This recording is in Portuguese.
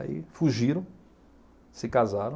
Aí fugiram, se casaram,